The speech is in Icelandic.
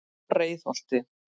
Breiðholti